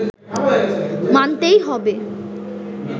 মানতেই হবে